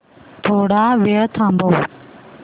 थोडा वेळ थांबव